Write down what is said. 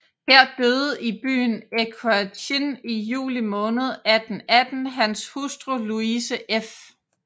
Her døde i byen Equerchin i juli måned 1818 hans hustru Louise f